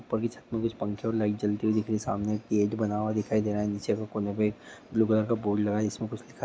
पगीच कुछ पंखे और लाइट जलती दिख रही है सामने गेट बना हुआ दिखाई दे रहा है नीचे कोने पे ब्लू कलर का बोर्ड लगा है जिस मैं कुछ--